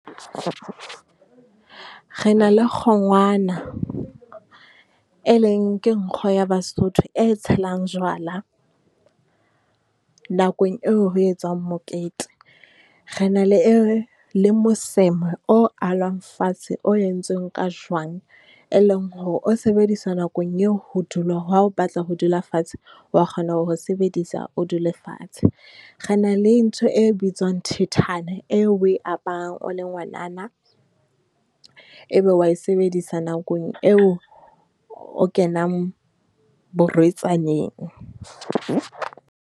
Re na le kgongwana, e leng ke nkgo ya Basotho e tshelang jwala nakong eo ho etswang mokete. Re na le le moseme o alwang fatshe, o entsweng ka jwang, e leng hore o sebedisa nakong eo ho dula, ha o batla ho dula fatshe, o wa kgona ho o sebedisa o dule fatshe. Re na le ntho e bitswang thethana eo o e aparang o le ngwanana, e be o wa e sebedisa nakong eo o kenang borwetsaneng.